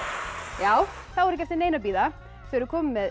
já þá er ekki eftir neinu að bíða þau eru komin með